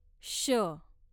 श